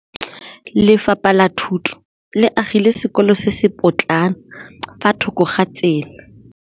Lefapha la Thuto le agile sekôlô se se pôtlana fa thoko ga tsela.